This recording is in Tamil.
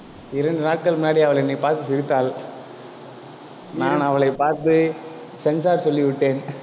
இரண்டு நாட்கள் முன்னாடி அவள் என்னை பார்த்து சிரித்தாள். நான் அவளைப் பார்த்து censor சொல்லிவிட்டேன்.